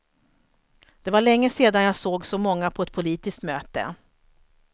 Det var länge sedan jag såg så många på ett politiskt möte.